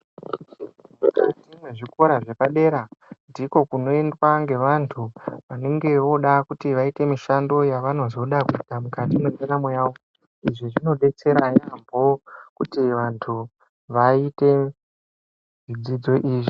Mukati mwezvikora zvepadera ndiko kunoendwa ngevantu vanenge voda kuti vaite mishando yavanozoda kuita mukati mwendaramo yavo izvi zvinodetsera yaamho kuti vanhu vaite zvidzidzo izvi.